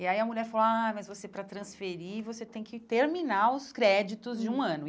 E aí a mulher falou, ah, mas você para transferir, você tem que terminar os créditos de um ano.